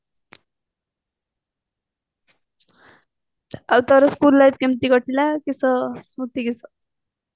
ଆଉ ତୋର school life କେମିତି କଟିଲା କିସ ସ୍ମତି କିସ